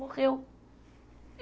Morreu.